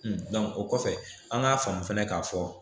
o kɔfɛ an k'a faamu fana k'a fɔ